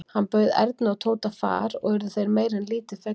Hann bauð Erni og Tóta far og urðu þeir meira en lítið fegnir.